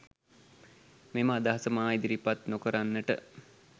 මෙම අදහස මා ඉදිරිපත් නොකරන්නට